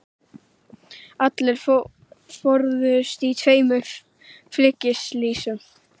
Allir fórust í tveimur flugslysum